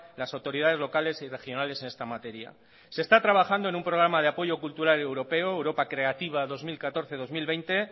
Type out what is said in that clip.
las autoridades locales y regionales en esta materia se está trabajando en un programa de apoyo cultural europeo europa creativa dos mil catorce dos mil veinte